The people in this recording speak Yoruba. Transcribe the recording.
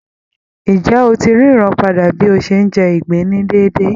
Ǹjẹ́ ó ti ń ríran padà bí ó ṣe ń jẹ ìgbín ní déédé?